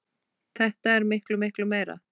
Þetta er miklu, miklu meira.